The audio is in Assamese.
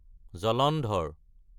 জলন্ধৰ